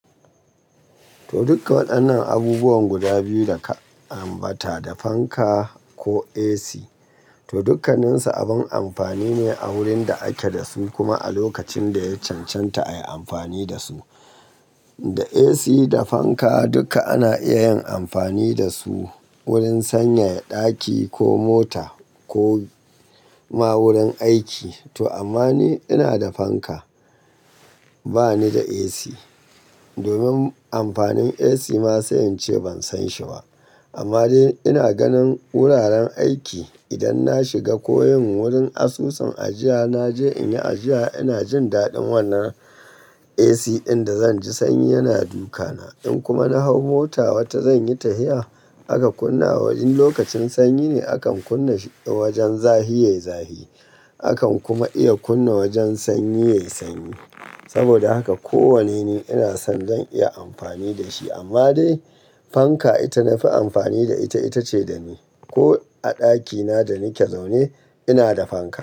To, dukkan waɗannan abubuwan guda biyu da ka ambata da fanka ko AC, to dukkanninsu abin amfani ne a wurin da ake da su kuma a lokacin da ya cancanta a yi amfani da su. Da AC da fanka duka ana iya yin amfani da su wurin sanyaya ɗaki ko mota ko ma wurin aiki. To amma ni ina da fanka, ba ni da AC. Domin amfanin AC ma sai in ce ban san shi ba. Amma dai ina ganin wuraren aiki idan na shiga ko yin wurin asusun ajiya, naje in yi ajiya ina jin daɗin wannan AC ɗin da zan ji sanyi yana duka na. In kuma na hau mota wata zan yi tafiya aka kunna wa wajen lokacin sanyi ne, akan kunna shi wajen zafi yayi zafi. Akan kuma iya kunna wajen sanyi yayi sanyi. Saboda haka ko wane ne ina son zan iya amfani da shi. Amma dai fanka ita na fi amfani da ita, ita ce da ni. Ko a ɗakina da nake zaune ina da fanka.